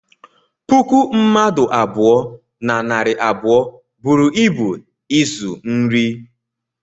puku mmadụ abụọ na narị abụọ buru ịbu ịzụ nri